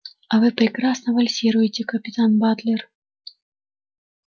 а вы прекрасно вальсируете капитан батлер